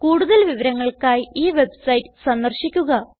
കൂടുതൽ വിവരങ്ങൾക്കായി ഈ വെബ്സൈറ്റ് സന്ദർശിക്കുക